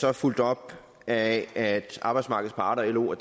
er fulgt op af at arbejdsmarkedets parter lo og